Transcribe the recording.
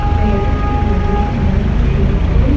இந்த எடத்துல நெறைய மரங்கள் இருக்கு.